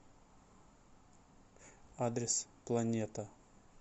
адрес планета